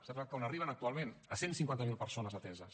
saben a quant arriben actualment a cent i cinquanta miler persones ateses